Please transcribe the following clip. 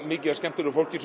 mikið af skemmtilegu fólki